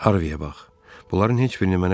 Harviyə bax, bunların heç birini mənə deməyib.